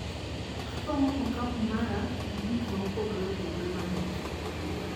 Apong`o okapu mara gi gikmaopogre opogre mabecho.